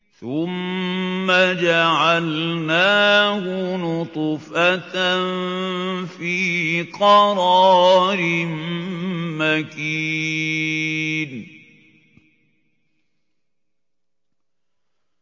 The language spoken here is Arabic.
ثُمَّ جَعَلْنَاهُ نُطْفَةً فِي قَرَارٍ مَّكِينٍ